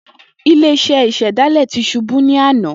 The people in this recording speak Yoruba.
Ile-iṣẹ isedale ti ṣubu ni ana